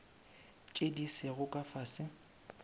tše di sego ka fase